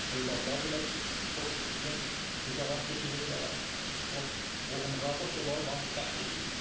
Övladlar da xoş güzəran keçirirlər, o qohum-qardaş onlara baxıb fəxr eləyirlər.